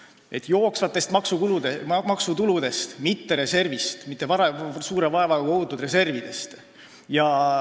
Seda tuleb teha jooksvatest maksutuludest, mitte suure vaevaga kogutud reservidest.